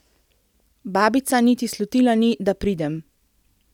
Babica niti slutila ni, da pridem!